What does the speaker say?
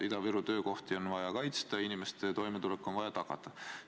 Ida-Viru töökohti on vaja kaitsta ja inimeste toimetulek on vaja tagada.